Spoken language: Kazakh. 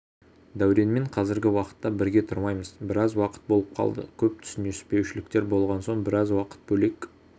дәуренмен қазіргі уақытта бірге тұрмаймыз біраз уақыт болып қалды көп түсініспеушіліктер болған соң біраз уақыт бөлек